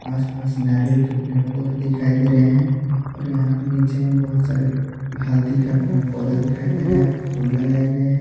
आस पास नारियल के पेड़ पौधे दिखाई दे रहे हैं और यहां पे नीचे में बहुत सारे हल्दी का पेड़ पौधा दिखाई दे रहा है फूल लगाए गए हैं।